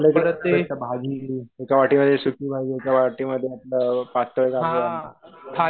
आपल्याकडं भेटतं भाजी हे एका वाटीमध्ये सुकी भाजी एका वाटीमध्ये पातळ भाजी